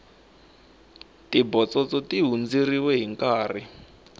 tibotsotso ti hundzeriwe hinkarhi